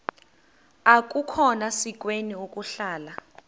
akukhona sikweni ukuhlala